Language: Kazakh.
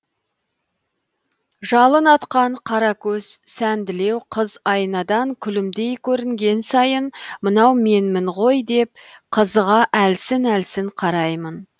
жалын атқан қара көз сәнділеу қыз айнадан күлімдей көрінген сайын мынау менмін ғой деп қызыға әлсін әлсін қараймын